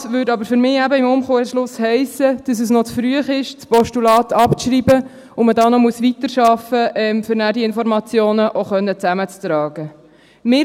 Das würde aber für mich eben im Umkehrschluss heissen, dass es noch zu früh ist, das Postulat abzuschreiben, und dass man hier noch weiterarbeiten muss, um die Informationen dann auch zusammentragen zu können.